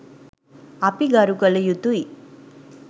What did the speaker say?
අපි ගරු කළයුතුයි.